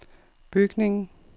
bygningen